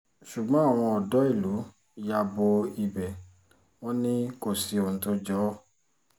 ṣùgbọ́n àwọn odò ìlú ya bo ibẹ̀ wọn ni kò sí ohun tó jọ ọ́